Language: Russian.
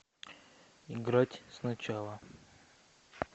играть сначала